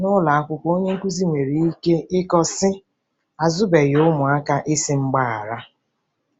N'ụlọ akwụkwọ onye nkụzi nwere ike ịkọ, sị, ' Azụbeghị ụmụaka ịsị mgbaghara. '